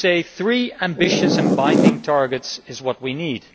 I would say three ambitious and binding targets is what we need.